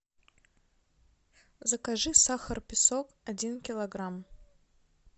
закажи сахар песок один килограмм